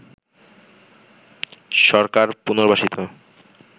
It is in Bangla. সরকার পুনর্বাসিত